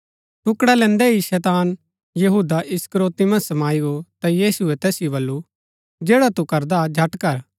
टुकडा लैन्दै ही शैतान यहूदा इस्करियोती मन्ज समाई गो ता यीशुऐ तैसिओ बल्लू जैडा तू करदा झट कर